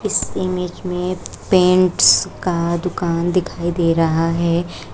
इस इमेज में पेंट्स का दुकान दिखाई दे रहा है।